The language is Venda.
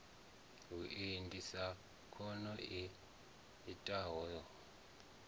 vhuendi sa khono i itisaho